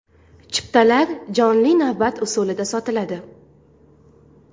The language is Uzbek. Chiptalar jonli navbat usulida sotiladi.